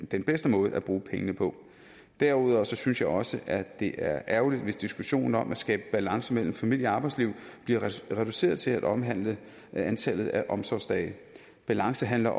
den bedste måde at bruge pengene på derudover synes jeg også at det er ærgerligt hvis diskussionen om at skabe balance mellem familie og arbejdsliv bliver reduceret til at omhandle antallet af omsorgsdage balance handler